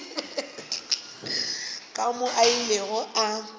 ka moo a ilego a